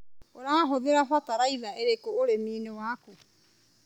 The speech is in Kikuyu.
ũrahũthĩra bataraitha ĩrĩkũ ũrĩminĩ waku.